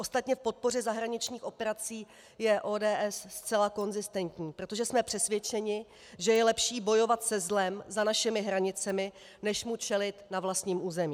Ostatně k podpoře zahraničních operací je ODS zcela konzistentní, protože jsme přesvědčeni, že je lepší bojovat se zlem za našimi hranicemi, než mu čelit na vlastním území.